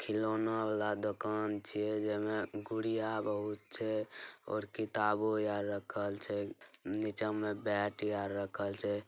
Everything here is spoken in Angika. खिलौना वाला दुकान छीये जेमे गुड़िया बहुत छै और किताबो यार रखल छैनीचे मे बैट यार रखल छै।